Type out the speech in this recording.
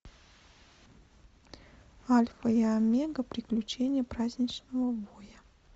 альфа и омега приключения праздничного воя